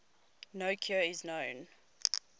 no cure is known